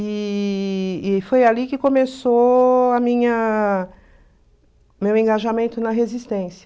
E e foi ali que começou a minha o meu engajamento na resistência.